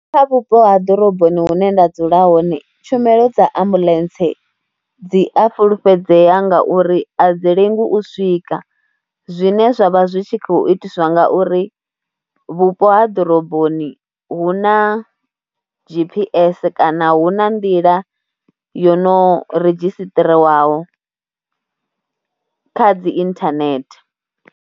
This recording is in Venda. Kha vhupo ha ḓoroboni hune nda dzula hone tshumelo dza ambuḽentse dzi a fhulufhedzea ngauri a dzi lengi u swika zwine zwa vha zwi tshi khou itiswa ngauri vhupo ha ḓoroboni hu na G_P_S kana hu na nḓila yo no redzhisiṱirisiwaho kha dzi inthanethe.